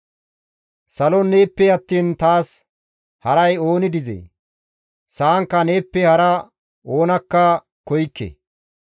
Salon neeppe attiin taas haray ooni dizee? Sa7ankka neeppe hara oonakka koykke.